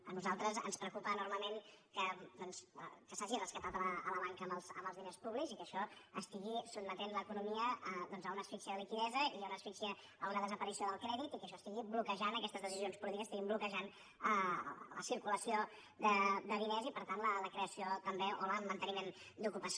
a nosaltres ens preocupa enormement que doncs s’hagi rescatat la banca amb els diners públics i que això estigui sotmetent l’economia a una asfíxia de liquiditat i a una desaparició del crèdit i que això estigui bloquejant aquestes decisions polítiques estiguin bloquejant la circulació de diners i per tant la creació també o el manteniment d’ocupació